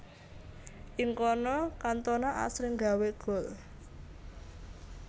Ing kono Cantona asring gawé gol